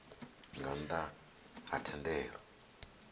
nga nnḓ a ha thendelo